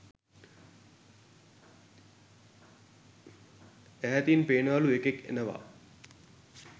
ඈතින් පේනවලු එකෙක් එනවා